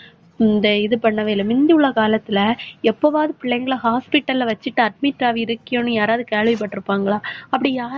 இந்த இது பண்ணவே இல்லை. முந்தி உள்ள காலத்துல, எப்பவாவது பிள்ளைங்களை hospital ல வச்சிட்டு admit ஆகி இருக்கியோன்னு, யாராவது கேள்விப்பட்டிருப்பாங்களா? அப்படி யாரு~